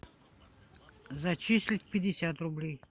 зачислить пятьдесят рублей